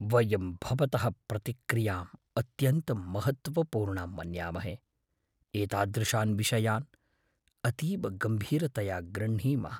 वयं भवतः प्रतिक्रियाम् अत्यन्तं महत्त्वपूर्णां मन्यमाहे, एतादृशान् विषयान् अतीव गम्भीरतया गृह्णीमः।